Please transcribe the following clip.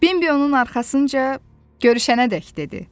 Bimbi onun arxasınca “Görüşənədək,” dedi.